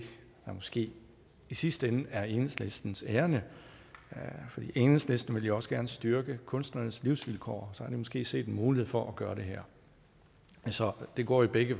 der måske i sidste ende er enhedslistens ærinde for enhedslisten vil jo også gerne styrke kunstnernes livsvilkår så har de måske set en mulighed for gøre det her så det går i begge